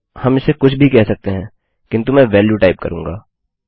हम इसे कुछ भी कह सकते हैं किन्तु मैं वेल्यू टाइप करूँगा